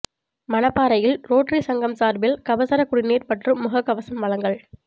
மணப்பாறையில் rotary சங்கம் சார்பில் கபசுர குடிநீர் மற்றும் முகக்கவசம் வழங்கல்